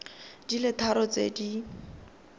di le tharo tse di